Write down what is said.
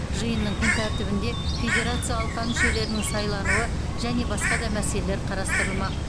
жиынның күн тәртібінде федерация алқа мүшелерінің сайлануы және басқа да мәселелер қарастырылмақ